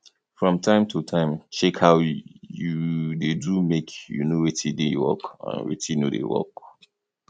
from time to time um check how you dey do make you know wetin dey work and wetin no dey um work